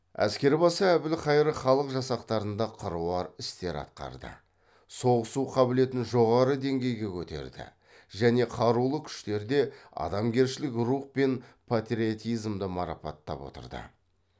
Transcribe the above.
әскербасы әбілқайыр халық жасақтарында қыруар істер атқарды соғысу қабілетін жоғары деңгейге көтерді және қарулы күштерде адамгершілік рух пен патриотизмді марапаттап отырды